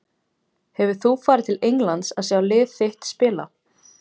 Hefur þú farið til Englands að sjá lið þitt spila?